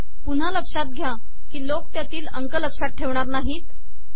पुन्हा लक्षात घ्या की लोक त्यातील अंक लक्षात ठेवणार नाहीत